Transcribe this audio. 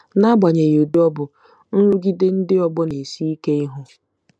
N'agbanyeghị ụdị ọ bụ, nrụgide ndị ọgbọ na-esi ike ihu.